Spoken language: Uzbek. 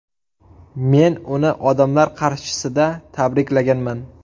Men uni odamlar qarshisida tabriklaganman.